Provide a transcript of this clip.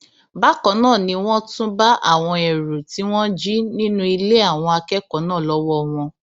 bákan náà ni wọn tún bá àwọn ẹrù tí wọn jí nínú ilé àwọn akẹkọọ náà lọwọ wọn